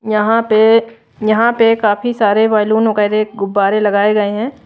यहां पे यहां पे काफी सारे बैलून वगैरह गुब्बारे लगाए गए है।